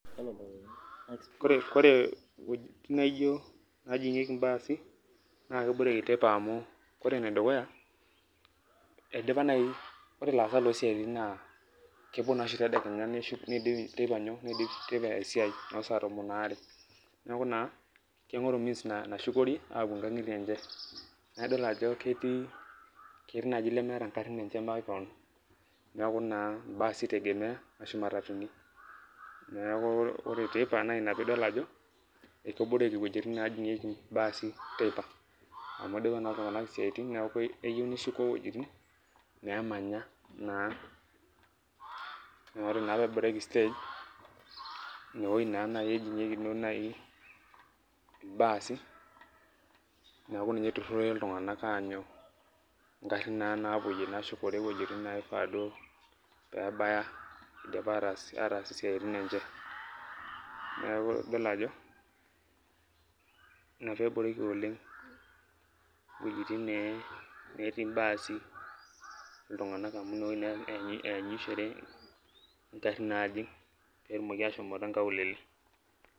Ore iwuejitin neejigieki ilbaasi naa keboreki teipa amu ore enedukuya ore ilaasak loo siaaitin naa kepuo naa oshi tedekenya neidip teipa esiai noo saa tomon are neeku naa keigoru means nashukore aapuo inkangitie enye naa idol naa ajo ketii naaji leemeeta igarin enye makewon neeku naa ibaasi ite tegemea Ashu imatatuni neeku ore teipa ana Ina pee idol ajo keboreki iwuejitin neejigieki ibaasi teipa amu idipa naa iltunganak isiaaitin neeku keyieu neshuko iwuejitin neemanya neeku ore naa pee pee eboreki stage inewueji naa naaji ejingieki ibaasi neeku ninye itururore iltunganak aanyu ingarin naa naapuyie nashukore iwuejitin naa naifaa duo nebaya idipa ataas isiaaitin enye neeku ina naa pee idol ajo Ina pee eboreki oleng iwuejitin nemetii ibaasi iltunganak amu inewueji naa eenyishore ingarin naajing pee etum aashom inkaulele .